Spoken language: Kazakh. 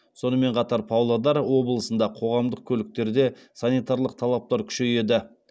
сонымен қатар павлодар облысында қоғамдық көліктерде санитарлық талаптар күшейеді